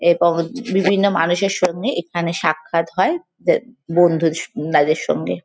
এবং বিভিন্ন মানুষের সঙ্গে এখানে সাক্ষাৎ হয়। তা বন্ধু স তাদের সঙ্গে।